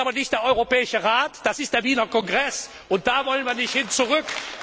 Das ist aber nicht der Europäische Rat, das ist der Wiener Kongress, und dahin wollen wir nicht zurück.